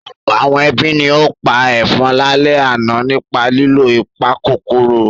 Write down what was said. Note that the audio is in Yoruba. Ọ̀pọ̀ àwọn ẹbí ni ó pa ẹ̀fọn lálẹ́ àná nípa lílo ìpakòkòrò.